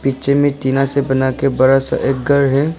पीछे में टीना से बनाके एक बड़ा सा घर है।